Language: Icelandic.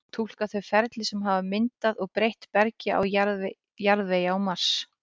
túlka þau ferli sem hafa myndað og breytt bergi og jarðvegi á mars